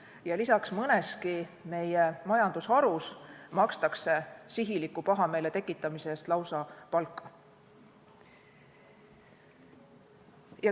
Ja lisaks, mõneski meie majandusharus makstakse sihiliku pahameele tekitamise eest lausa palka.